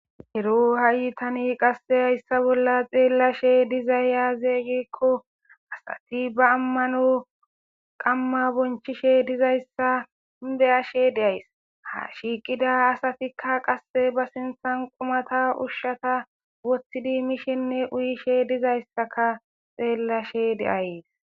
ero ha7i tani qasse hayssa bolla xeellashe dizayya zeeygekko asati ba ammano qamma bonchishe dizayssa beyashe deays ha shiiqida asatikka qasse ba sinthan qumata ushshata wothtidi mishinne uyishe dizayssaka xeellashe deayes